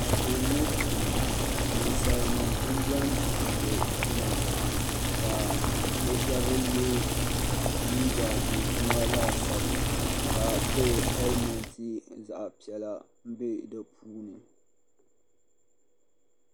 Anfooni ŋɔ puuni ninsali nima n bɛni tumdi tuma ka bi shɛba yɛ liiga dozima laasabu ka pili helimɛnti zaɣa piɛla n bɛ di puuni.